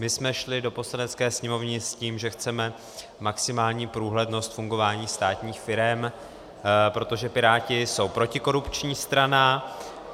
My jsme šli do Poslanecké sněmovny s tím, že chceme maximální průhlednost fungování státních firem, protože Piráti jsou protikorupční strana.